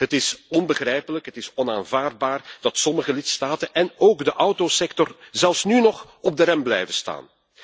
Het is onbegrijpelijk, het is onaanvaardbaar dat sommige lidstaten en ook de autosector zelfs nu nog op de rem blijven staan.